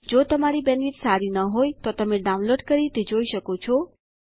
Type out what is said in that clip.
જો તમારી બેન્ડવિડ્થ સારી નહિં હોય તો તમે ડાઉનલોડ કરી તે જોઈ શકો છો